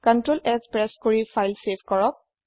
Ctrl S press কৰি file save কৰক